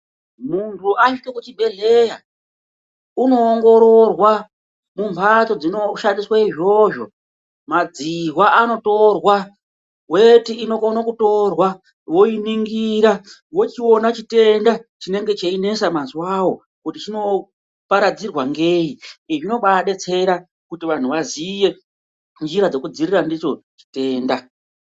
Muntu asvika kuchibhehleya unoongororwa mumhatso dzinoshandiswe izvozvo, madzihwa anotorwa, weti inokona kutorwa, voiningira vochiona chitenda chinenge cheinesa mazuwawo kuti chinoparadzirwa ngei. Izvi zvinobadetsera kuti vanhu vaziye nzira dzekudziirira ndidzo chitenda .